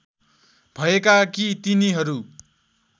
भएका कि तिनीहरू